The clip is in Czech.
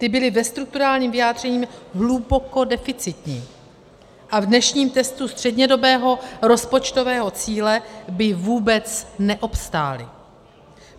Ty byly ve strukturálním vyjádření hluboko deficitní a v dnešním testu střednědobého rozpočtového cíle by vůbec neobstály.